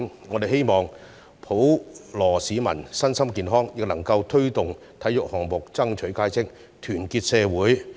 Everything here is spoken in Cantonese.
我們希望普羅市民身心健康，亦能夠推動體育項目爭取佳績，團結社會。